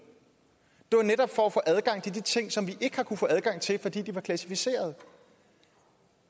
det var netop for at få adgang til de ting som vi ikke har kunnet få adgang til fordi de var klassificerede